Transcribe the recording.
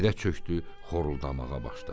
O yerə çökdü, xoruldamağa başladı.